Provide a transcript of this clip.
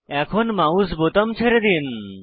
এখন মাউস বোতাম ছেড়ে দিন